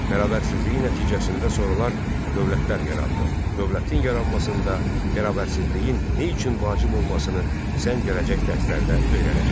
Bərabərsizliyin nəticəsində sonralar dövlətlər yarandı, dövlətin yaranmasında bərabərsizliyin nə üçün vacib olmasını sən gələcək dərslərdə öyrənəcəksən.